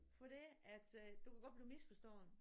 Fordi at øh du kan godt blive misforstået